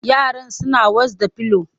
Yaran suna was da pillow